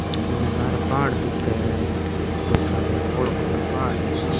उनने लारे पहाड़ दिखे है बढ़ो सारो बौलो बढ़ो पहाड़ है लारे।